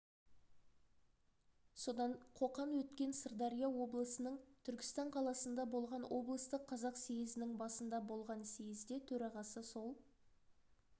содан қоқан өткен сырдария облысының түркістан қаласында болған облыстық қазақ съезінің басында болған съезде төрағасы сол